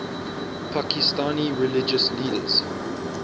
pakistani religious leaders